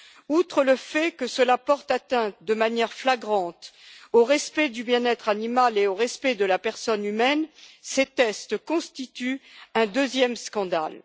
Outre le fait que cela porte atteinte de manière flagrante au respect du bien être animal et à celui de la personne humaine, ces tests constituent un deuxième scandale.